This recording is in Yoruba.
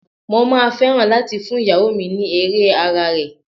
Mo máa fẹ́ràn láti fún ìyàwó mi ní Ere ara rẹ̀.